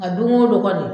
Nka don go don kɔni